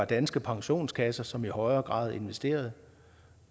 danske pensionskasser som i højere grad investerer